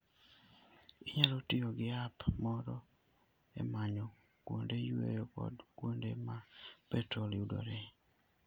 Inyalo tiyo gi app moro e manyo kuonde yueyo kod kuonde ma petrol yudoree.